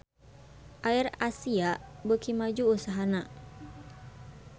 AirAsia beuki maju usahana